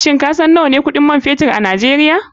Shin kasan nawane kuɗin man fetur a nigeria?